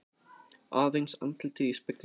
Aðeins andlitið í speglinum.